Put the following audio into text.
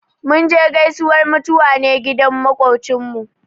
Mun je gaisuwar mutuwa ne gidan maƙocinmu.